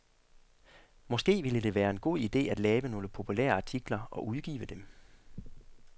Måske ville det være en god ide at lave nogle populære artikler og udgive dem.